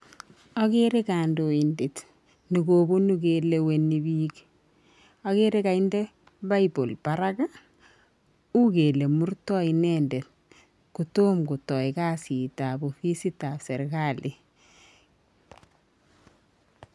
agere kandoindet ne kobunu keleweni pik , agere kainde [bible] parak u kele murtai inendet kotom kotai kasit ab ofisit ab serekali